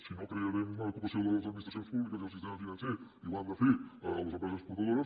si no crearem ocupació a les administracions públiques i al sistema financer i ho han de fer les empreses exportadores